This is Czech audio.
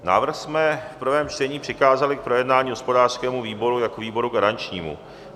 Návrh jsme v prvém čtení přikázali k projednání hospodářskému výboru jako výboru garančnímu.